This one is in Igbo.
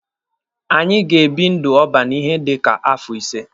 Anyị ga-ebi ndụ ọban ihe dika afọ ise.